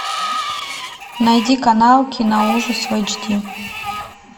найди канал киноужас в эйч ди